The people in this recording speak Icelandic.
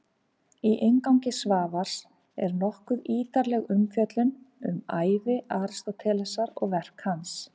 Í inngangi Svavars er nokkuð ítarleg umfjöllun um ævi Aristótelesar og verk hans.